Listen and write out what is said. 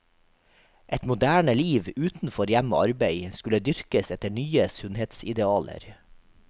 Et moderne liv utenfor hjem og arbeid skulle dyrkes etter nye sunnhetsidealer.